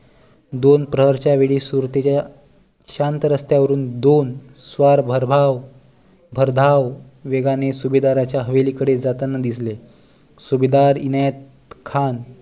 दोन प्रहरच्या वेळी सुरेतेच्या शांत रस्त्या वरून दोन स्वार भरधाव भरधाव वेगाने सुभेदराच्या हवेली कडे जाताना दिसले सुभेदार इनायत खान